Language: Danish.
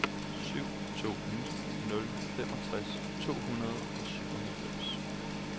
syv to ni nul femogtres to hundrede og syvoghalvfems